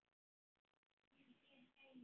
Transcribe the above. Sýnd og reynd.